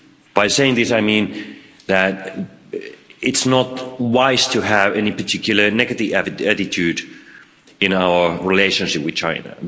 By saying this, I mean that it's not wise to have any particular negative attitude in our relationship with China